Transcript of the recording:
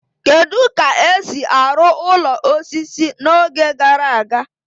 Kedu ka esi arụ ụlọ osisi n'oge gara aga?